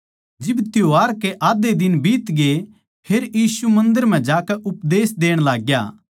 जिब त्यौहार के आध्धे दिन बीतगे फेर यीशु मन्दर म्ह जाकै उपदेश देण लागग्या